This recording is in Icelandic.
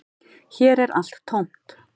Hér er allt tómt